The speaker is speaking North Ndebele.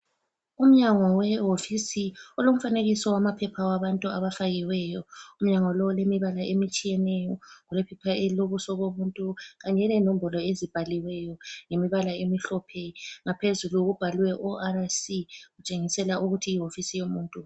Umnyango we wofisi, ulomfanekiso wamaphepha wabantu abafakiweyo. Umnyango lo ulemibala etshiyeneyo. Kulephepha elilobuso bomuntu, kanye lenombolo ezibhaliweyo ngemibala emihlophe. Ngaphezulu kubhalwe ORC. Kutshengisela ukuthi yiwofisi yomuntu.